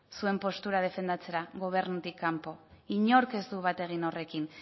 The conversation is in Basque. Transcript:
zuen postura defendatzera gobernutik kanpo inork ez du bat egin horrekin